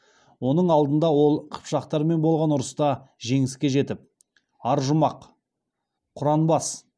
оның алдында ол қыпшақтармен болған ұрыста жеңіске жетіп аржұмақ құранбас